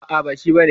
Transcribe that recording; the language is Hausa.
A'a, ba shi ba ne.